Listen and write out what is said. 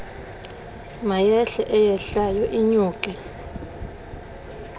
mayehle eyehlayo inyuke